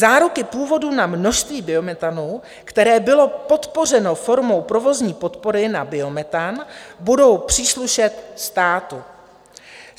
Záruky původu na množství biometanu, které bylo podpořeno formou provozní podpory na biometan, budou příslušet státu.